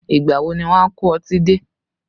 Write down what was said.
Ìgbà wo ni wọn a kó ọtí dé?